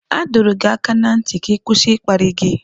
A dọrọ gị aka ná ntị ka ị kwụsị ịkparị gị.